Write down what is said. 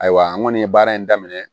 Ayiwa n kɔni ye baara in daminɛ